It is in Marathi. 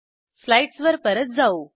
स्लाईडस वर परत जाऊ